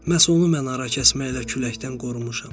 Məhz onu mən arakəsməylə küləkdən qorumuşam.